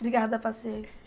Obrigada a paciência.